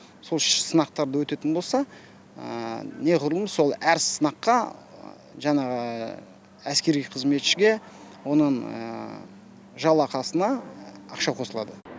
сол сынақтардан өтетін болса не ғұрлым сол әр сынаққа жанағы әскери қызметшіге оның жалақысына ақша қосылады